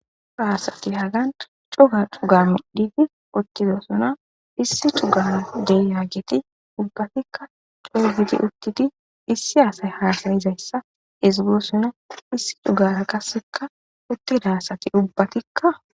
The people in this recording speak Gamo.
haasati hagan cuga cuga midhidi uttidosuna issi cugan deyagiti ubbatikka co7u gidi uttidi issi aasay haasayizayssa ezigosona issi cugara qasseka uttidaasati ubbatikka